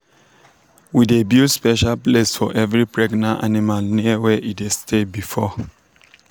we dey build special place for every pregnant animal near where e dey stay before.